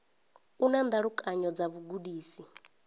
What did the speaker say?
u na ndalukanyo dza vhugudisi